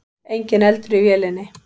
Enginn eldur í vélinni